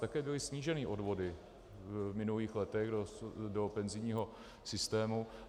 Také byly sníženy odvody v minulých letech do penzijního systému.